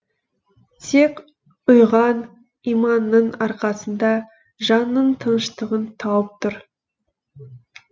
тек ұйыған иманының арқасында жанының тыныштығын тауып тұр